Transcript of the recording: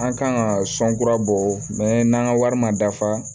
An kan ka sɔn kura bɔ mɛn n'an ka wari ma dafa